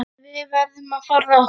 Við verðum að forða okkur.